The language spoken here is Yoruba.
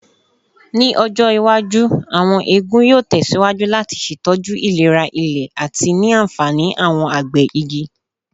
Ni ọjọ iwaju, awọn eegun yoo tẹsiwaju lati ṣetọju ilera ile ati ni anfani awọn agbẹ igi.